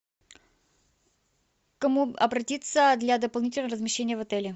к кому обратиться для дополнительного размещения в отеле